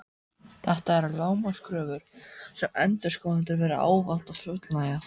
Þetta eru lágmarkskröfur sem endurskoðendur verða ávallt að fullnægja.